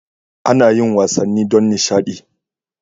Ana yin wasanni don nishadi.